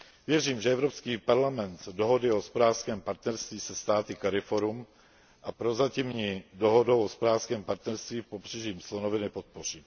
Věřím, že Evropský parlament dohody o hospodářském partnerství se státy CARIFORUM a prozatímní dohodu o hospodářském partnerství s Pobřežím slonoviny podpoří.